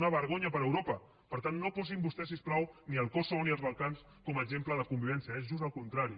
una vergonya per a europa per tant no posin vostès si us plau ni el kosovo ni els balcans com a exemple de convivència és just al contrari